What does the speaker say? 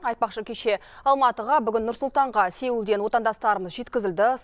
айтпақшы кеше алматыға бүгін нұр сұлтанға сеулден отандастарымыз жеткізілді